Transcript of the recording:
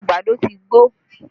Àgbàdo ti gbó